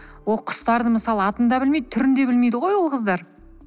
ол құстарды мысалы атын да білмейді түрін де білмейді ғой ол қыздар